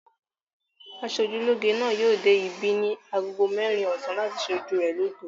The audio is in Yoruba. Aṣojúlóge náà yóò dé ibí ní ago mẹ́rin ọ̀sán láti ṣe ojú rẹ lóge.